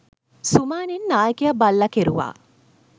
සුමානෙන් නායකයා බල්ලා කෙරුවා